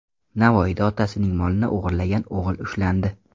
Navoiyda otasining molini o‘g‘irlagan o‘g‘il ushlandi.